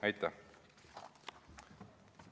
Aitäh!